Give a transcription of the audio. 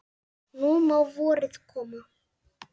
Nú má vorið koma.